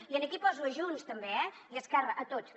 i aquí poso a junts també eh i a esquerra a tots